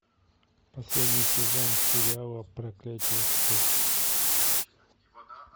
последний сезон сериала проклятие спящих